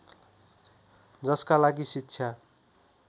जसका लागि शिक्षा